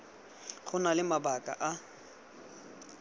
go na le mabaka a